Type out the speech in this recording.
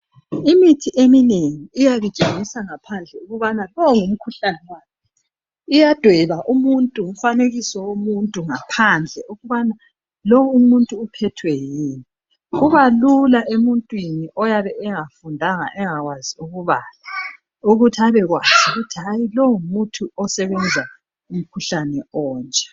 Imithi eminengi iyabi tshengisa ngaphandle ukubana lo ngumkhuhlane Wani .Iyadweba umfanekiso womuntu ngaphandle ukubana lo umuntu uphethwe yini .Kuba kula emuntwini oyabe engafundanga engakwazi ukubala ukuthi abekwazi ukuthi lo ngumuthi osebenza umkhuhlane onje .